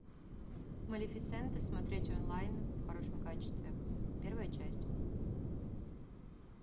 малефисента смотреть онлайн в хорошем качестве первая часть